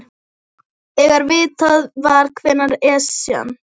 Þegar vitað var hvenær Esjan